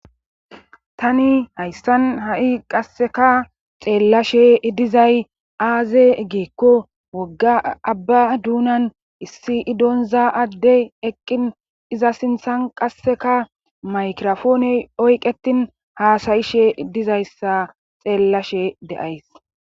tani haysan ha'i qasseka xeellashe dizay aaze gikko wogga abba duunan issi indoyine adde eqqin iza sinthan qasseka maykrofoone oyqetin haasayishe dizayssa xeellashe de'ays